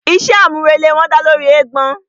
Iṣé àmúrelé wọn dálé lóri eégbọn.